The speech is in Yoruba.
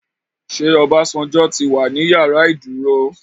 Ṣé Obasanjo tí wà ní ìyàrá ìdúró?